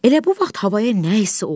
Elə bu vaxt havaya nəsə oldu.